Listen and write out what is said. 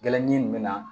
Gɛlɛnji min bɛ na